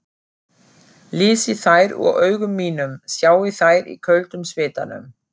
Lesi þær úr augum mínum, sjái þær í köldum svitanum.